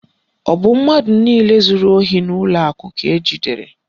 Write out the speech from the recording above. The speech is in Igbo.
Ọ bụ mmadụ niile zuru ohi n'ụlọ akụ ka ejidere?